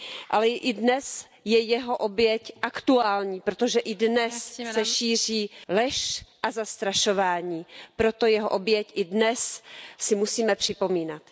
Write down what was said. Ale i dnes je jeho oběť aktuální, protože i dnes se šíří lež a zastrašování. Proto jeho oběť i dnes si musíme připomínat.